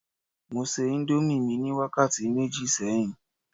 mo se indomie mi ni wakati meji sẹyìn